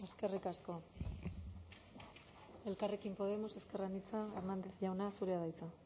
eskerrik asko ubera andrea elkarrekin podemos ezker anitza hernández jauna zurea da hiza